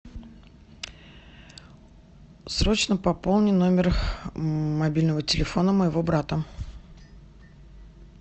срочно пополни номер мобильного телефона моего брата